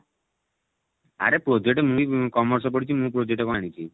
ଆରେ project ମୁଁ ବି commerce ପଢିଛି ମୁଁ project କଣ ଜାଣିଛି